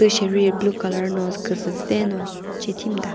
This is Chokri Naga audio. Tu sheri blue colour no küzüve no che shemüta.